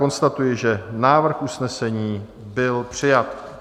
Konstatuji, že návrh usnesení byl přijat.